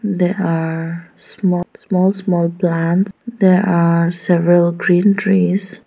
there are sma-small-small plants there are several green trees.